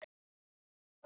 Þú varst mér allt, Bára.